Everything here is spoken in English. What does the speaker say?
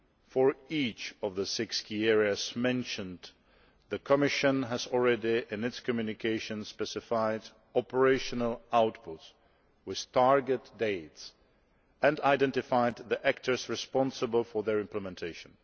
For each of the six key areas mentioned, the Commission has already, in its Communication, specified operational outputs with target dates and identified the actors responsible for their implementation.